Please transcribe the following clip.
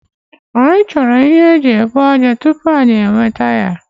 Anyi choro ihe eji ebu aja tupu anyi enwete ya